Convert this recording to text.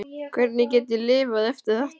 Hvernig get ég lifað eftir þetta?